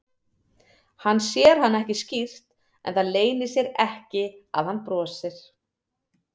Hann sér hann ekki skýrt en það leynir sér ekki að hann brosir.